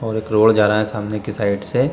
और एक रोड जा रहा है सामने के साइड से।